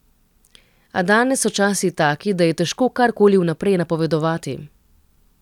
A danes so časi taki, da je težko karkoli vnaprej napovedovati.